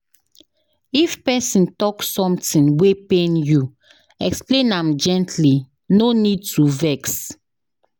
If pesin talk something wey pain you, explain am gently, no need to vex.